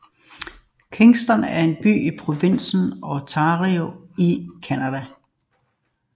Kingston er en by i provinsen Ontario i Canada